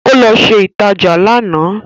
Ó lọ ṣe ìtajà lánàá